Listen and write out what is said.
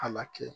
A la kɛ